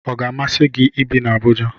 Ọ ga-amasi gị ibi na Abuja?